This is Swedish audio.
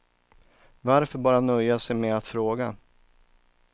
Varför bara nöja sig med att fråga.